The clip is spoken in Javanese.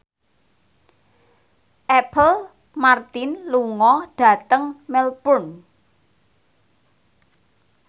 Apple Martin lunga dhateng Melbourne